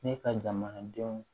Ne ka jamanadenw